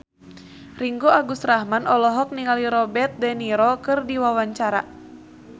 Ringgo Agus Rahman olohok ningali Robert de Niro keur diwawancara